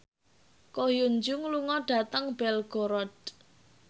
Ko Hyun Jung lunga dhateng Belgorod